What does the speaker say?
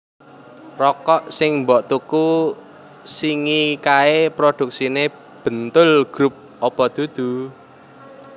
Rokok sing mbok tuku singi kae produksine Bentoel Group opo dudu?